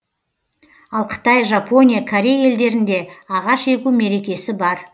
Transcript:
ал қытай жапония корей елдерінде ағаш егу мерекесі бар